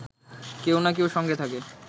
কেউ না কেউ সঙ্গে থাকে